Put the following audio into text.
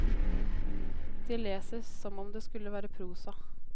De leser som om det skulle være prosa.